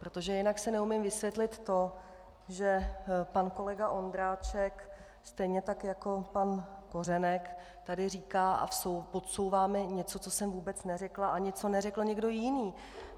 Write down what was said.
Protože jinak si neumím vysvětlit to, že pan kolega Ondráček, stejně tak jako pan Kořenek, tady říká a podsouvá mi něco, co jsem vůbec neřekla ani co neřekl někdo jiný.